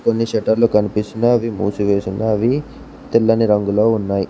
కొన్ని షెటర్లు కనిపిస్తున్నయ్ అవి మూసివేసున్నాయ్ అవి తెల్లని రంగులో ఉన్నాయ్.